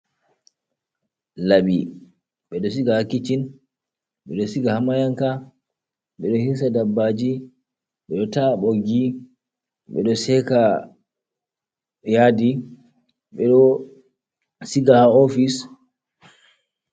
Laɓi, ɓeɗo siga ha kiccin, ɓeɗo siga ha mayanka, ɓeɗo hirsa dabbaji, ɓeɗo taah dabbaji, ɓeɗo seka yadi, ɓeɗo sigaa ha ofis.